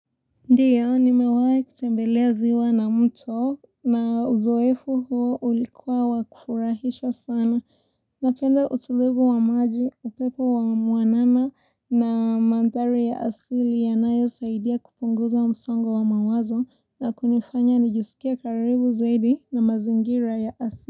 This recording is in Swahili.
Ndiyo, nimewai kutembelea ziwa na mto na uzoefu huo ulikuwa wakufurahisha sana. Napenda utulivu wa maji, upepo wa mwanana na mandhari ya asili yanayo saidia kupunguza msongo wa mawazo na kunifanya nijisikie karibu zaidi na mazingira ya asili.